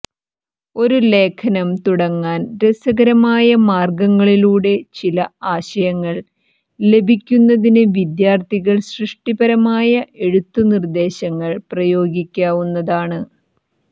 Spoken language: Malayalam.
ഒരു ലേഖനം തുടങ്ങാൻ രസകരമായ മാർഗ്ഗങ്ങളിലൂടെ ചില ആശയങ്ങൾ ലഭിക്കുന്നതിന് വിദ്യാർത്ഥികൾ സൃഷ്ടിപരമായ എഴുത്ത് നിർദ്ദേശങ്ങൾ പ്രയോഗിക്കാവുന്നതാണ്